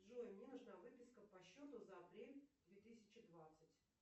джой мне нужна выписка по счету за апрель две тысячи двадцать